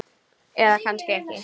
Eða kannski ekki.